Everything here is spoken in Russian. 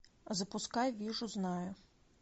запускай вижу знаю